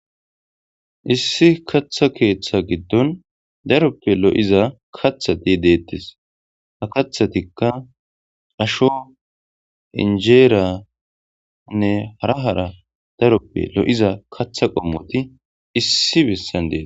issi katha keeththa giddon daroppe lo7iza kathati deettes ha kathatikka asho injeeriyanne hara hara daroppe lo7iza katha qommoti issi bessan deeta